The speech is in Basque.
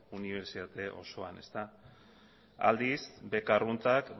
unibertsitate osoan aldiz beka arruntak